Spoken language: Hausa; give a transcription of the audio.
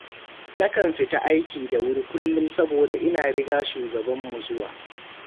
Na kan fita aiki da wuri kullum saboda ina riga shugabanmu zuwa.